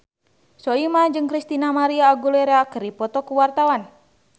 Soimah jeung Christina María Aguilera keur dipoto ku wartawan